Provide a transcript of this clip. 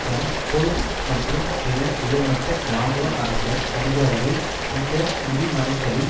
Rumsfeld மற்றும் பிற உயர்மட்ட இராணுவ அரசியல் அதிகாரிகள் இந்த மூடிமறைத்தலில்